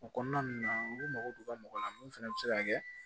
O kɔnɔna ninnu na olu mago bɛ mɔgɔ la mun fana bɛ se ka kɛ